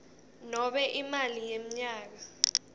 nobe imali yemnyaka